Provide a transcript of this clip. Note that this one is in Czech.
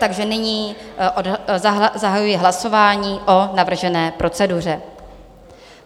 Takže nyní zahajuji hlasování o navržené proceduře.